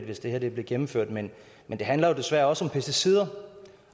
hvis det her blev gennemført men det handler jo desværre også om pesticider og